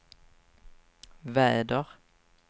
väder